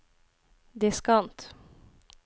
diskant